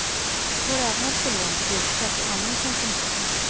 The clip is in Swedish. Det går även att få lån till bilköp och annan konsumtion.